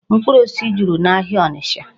Mkpụrụ osisi juru n'ahịa Ọnịcha.